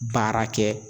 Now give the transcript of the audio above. Baara kɛ